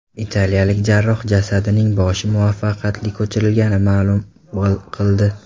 Italiyalik jarroh jasadning boshi muvaffaqiyatli ko‘chirilganini ma’lum qildi.